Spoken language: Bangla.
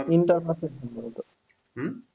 inter pass সম্বভতো,